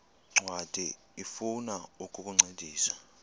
ncwadi ifuna ukukuncedisa